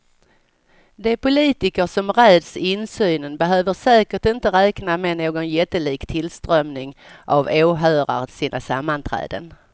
De politiker som räds insynen behöver säkert inte räkna med någon jättelik tillströmning av åhörare till sina sammanträden.